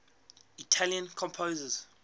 italian composers